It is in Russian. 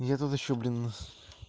нет тут ещё блин